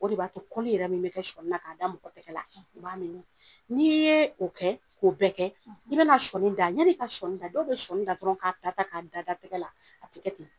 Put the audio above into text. O de b'a to min yɛrɛ bɛ kɛ sɔni na, ka da mɔgɔ tɛgɛ la, o b'a n'i ye o kɛ, k'o bɛɛ kɛ, i bɛna sɔni da, yan'i ka sɔni da, dɔw bɛ sɔni da dɔrɔn, k'a ta ta, ka da da tɛgɛ la, a tigɛ ten.